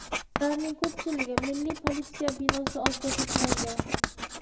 Ularning ko‘pchiligi Milliy politsiya binosi oldida to‘plangan.